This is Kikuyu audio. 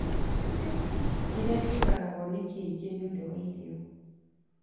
kĩrĩa kĩuragagwo nĩ kĩngĩ nĩũndũ wa irio